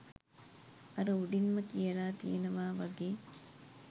අර උඩින්ම කියලා තියෙනවා වගේ